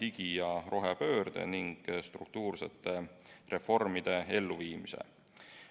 digi- ja rohepöörde ning struktuursete reformide elluviimise abil.